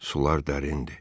Sular dərindir.